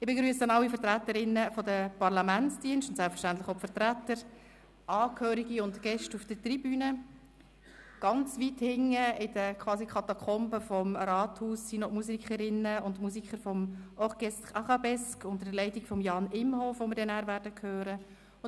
Ich begrüsse alle Vertreterinnen und Vertreter der Parlamentsdienste, Angehörige und Gäste auf der Tribüne, und ganz weit hinten, quasi in den Katakomben des Rathauses, warten die Musikerinnen und Musiker des Jugendsinfonieorchesters Arabesque unter Leitung von Jan Imhof, die wir anschliessend hören werden.